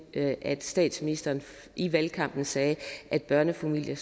at statsministeren i valgkampen sagde at børnefamilier